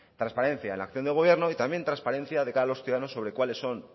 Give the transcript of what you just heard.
transparencia en la acción del gobierno y también transparencia de cara a los ciudadanos sobre cuáles son